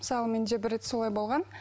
мысалы бір рет солай болған